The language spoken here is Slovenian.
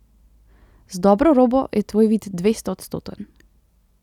Z dobro robo je tvoj vid dvestoodstoten.